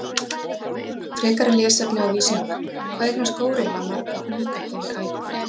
Frekara lesefni á Vísindavefnum: Hvað eignast górilla marga unga yfir ævina?